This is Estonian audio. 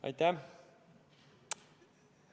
Aitäh!